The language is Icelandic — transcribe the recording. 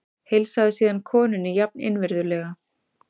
Heilsaði síðan konunni jafn innvirðulega.